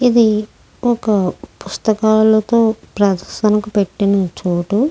ఇది ఒక పుస్త కళతో ప్రదర్శనకి పెట్టిన చోటు.